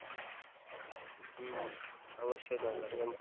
হুম অবশ্যই দরকার